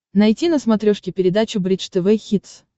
найти на смотрешке передачу бридж тв хитс